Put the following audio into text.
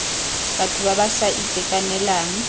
batho ba ba sa itekanelang